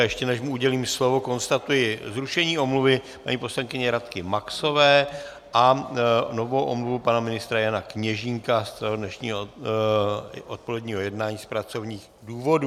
A ještě než mu udělím slovo, konstatuji zrušení omluvy paní poslankyně Radky Maxové a novou omluvu pana ministra Jana Kněžínka z dnešního odpoledního jednání z pracovních důvodů.